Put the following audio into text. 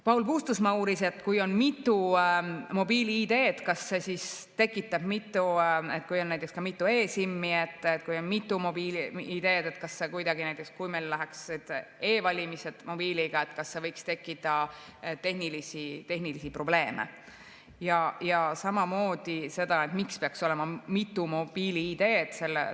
Paul Puustusmaa uuris, et kui on mitu mobiil‑ID‑d ja kui on näiteks ka mitu e‑SIM‑i, et kas näiteks, kui meil toimuksid e‑valimised mobiiliga, võiks tekkida tehnilisi probleeme, ja samamoodi seda, miks peaks olema mitu mobiil‑ID‑d.